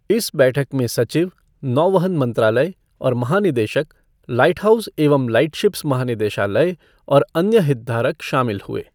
इस बैठक में सचिव, नौवहन मंत्रालय और महानिदेशक, लाइटहाउस एवं लाइटशिप्स महानिदेशालय और अन्य हितधारक शामिल हुए।